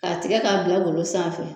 k'a tigɛ k'a bila golo sanfɛ